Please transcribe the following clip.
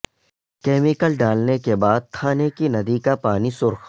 chemical ڈالنے کے بعد تھانے کی ندی کا پانی سرخ